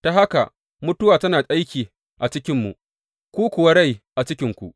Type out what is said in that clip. Ta haka, mutuwa tana aiki a cikinmu, ku kuwa rai a cikinku.